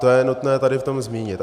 To je nutné tady v tom zmínit.